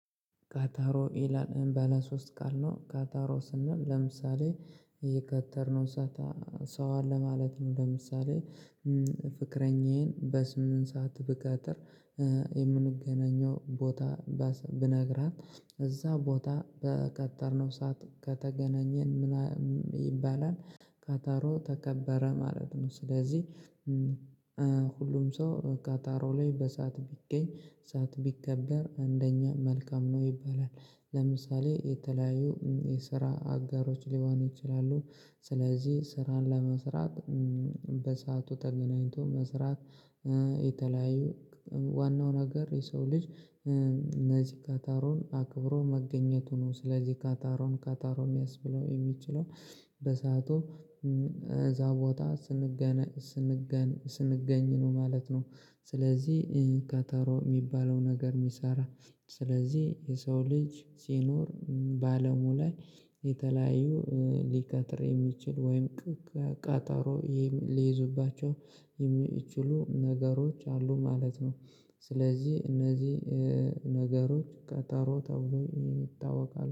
ካታሮ ኤላን እምበለ ሶስት ቃል ነው። ካታሮ ስናል ለምሳሌ የከተርነው ሰው አለ ማለት ነው። ለምሳሌ ፍቅረኛዬን በስምንት ሰዓት ብቀጥር። የምንገናኘው ቦታ ብነግራት እዛ ቦታ በቀጠርነው ሰዓት ከተገናኘን ምናምን ይባላል። ካታሮ ተከበረ ማለት ነው። ስለዚህ ሁሉም ሰው ካታሮ ላይ በሰአት ቢገኝ ሰዓት ቢከበር አንደኛ መልካም ነው። ይባላል ለምሳሌ የተለያዩ የስራ አጋሮች ሊሆኑ ይችላሉ። ስለዚህ ስራን ለመስራት በሰአቱ ተገናኝቶ መስራት። የተለያዩ ዋናው ነገር የሰው ልጅ እነዚህ ካታሮን አክብሮ መገኘቱ ነው። ስለዚህ ካታሮን ካታሮ የሚያስብለው የሚችለው በሰአቱ እዛ ቦታ ስንገነ ስንገነ ስንገኝ ነው ማለት ነው። ስለዚህ ካታሮ የሚባለው ነገር የሚሰራ። ስለዚህ የሰው ልጅ ሲኖር በአለሙ ላይ የተለያዩ ሊካትር የሚችል ወይም ቃጠሮ ሊይዙባቸው የሚችሉ ነገሮች አሉ ማለት ነው። ስለዚህ እነዚህ ነገሮች ቀጠሮ ተብሎ ይታወቃል።